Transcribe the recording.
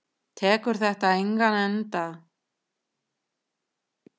Tekur þetta engan enda?